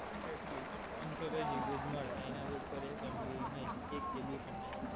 એટલી જ. પંચોતેર GB જ મડે, એનાથી ઉપર એક MB નહીં, એક KB પણ નહીં.